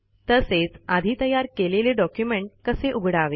तसेच आधी तयार केलेले डॉक्युमेंट कसे उघडावे